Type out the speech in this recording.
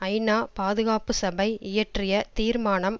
ஐநா பாதுகாப்பு சபை இயற்றிய தீர்மானம்